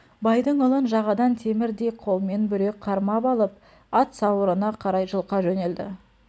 байдың ұлын жағадан темірдей қолмен бүре қармап алып ат сауырына қарай жұлқа жөнелді